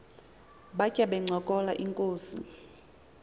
batya bencokola inkos